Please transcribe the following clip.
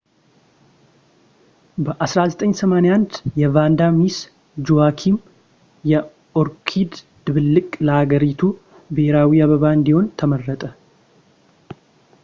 በ1981 የቫንዳ ሚስ ጁዋኪም የኦርኪድ ድብልቅ ለሃገሪቱ ብሔራዊ አበባ እንዲሆን ተመረጠ